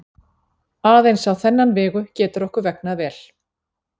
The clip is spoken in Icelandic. Aðeins á þennan vegu getur okkur vegnað vel.